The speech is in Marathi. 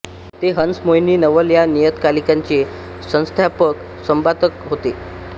ते हंस मोहिनी नवल या नियतकालिकांचे संस्थापक संपादक होते